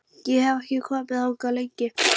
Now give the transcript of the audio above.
Ég hef ekki komið þangað lengi.